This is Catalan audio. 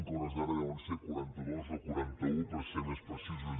que a hores d’ara deuen ser quaranta dos o quaranta un per ser més precisos